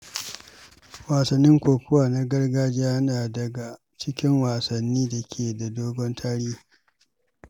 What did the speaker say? Wasan kokawa ta gargajiya yana daga cikin wasannin da ke da dogon tarihi.